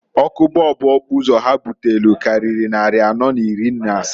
Ọkụ bọọbụ okpuzo ha butelu kariri nnari anọọ n'iri n'asatọ.